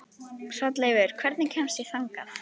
Hrolleifur, hvernig kemst ég þangað?